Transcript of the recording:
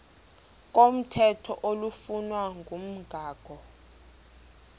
komthetho oflunwa ngumgago